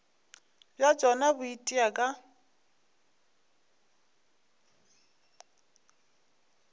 bja tšona bo itia ka